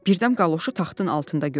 Birdən qaloşu taxtın altında gördü.